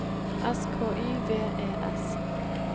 S K Y V E S